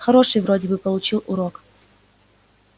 хороший вроде бы получил урок